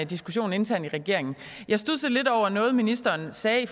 diskussion internt i regeringen jeg studsede lidt over noget ministeren sagde